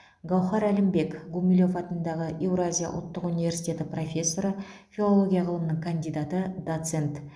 гауһар әлімбек гумилев атындағы еуразия ұлттық университеті профессоры филология ғылымының кандидаты доцент